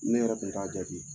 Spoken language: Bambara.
Ne yɛrɛ kun t''a jate.